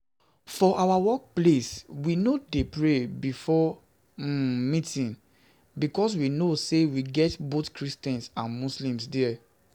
For our workplace we no dey pray before um meeting because we know know say we get both christians and muslims there